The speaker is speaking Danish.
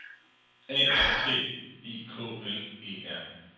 A R T I K L E R